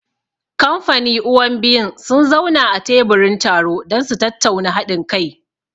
Kamfaniuwan biyun sun zauna a teburin taro don su tattauna haɗin kai.